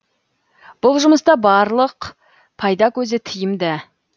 бұл жұмыста барлық пайда көзі тиімды